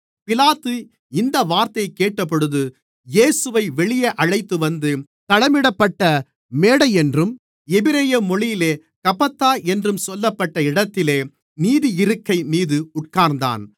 பிலாத்து இந்த வார்த்தையைக் கேட்டபொழுது இயேசுவை வெளியே அழைத்துவந்து தளமிடப்பட்ட மேடையென்றும் எபிரெய மொழியிலே கபத்தா என்றும் சொல்லப்பட்ட இடத்திலே நீதியிருக்கை மீது உட்கார்ந்தான்